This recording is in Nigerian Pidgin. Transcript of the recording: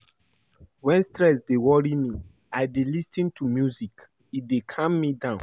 Wen stress dey worry me, I dey lis ten to music, e dey calm me down.